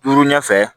Turu ɲɛ fɛ